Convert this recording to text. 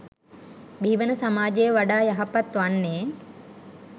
බිහිවන සමාජය වඩා යහපත් වන්නේ.